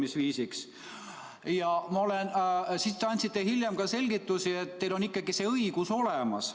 Siis te andsite hiljem selgitusi, et teil on ikkagi see õigus olemas.